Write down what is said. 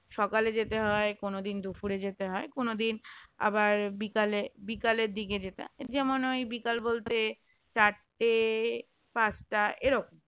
সকালে যেতে হয় কোনদিন দুপুরে যেতে হয় কোনদিন আবার বিকালে বিকালের দিকে যেতে হয় যেমন ওই বিকাল বলতে চারটে পাঁচটা এরকম